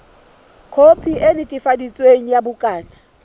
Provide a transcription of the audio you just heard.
khopi e netefaditsweng ya bukana